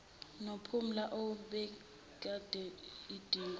nophumla ababemiqondo idungwe